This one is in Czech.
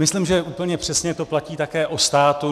Myslím, že úplně přesně to platí také o státu.